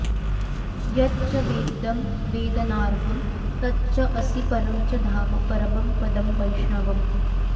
यत् च वेद्यं वेदनार्हं तच्च असि परं च धाम परमं पदं वैष्णवम्